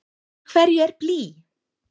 Úr hverju er blý?